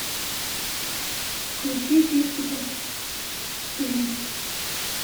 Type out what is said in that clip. включи фиксики фильм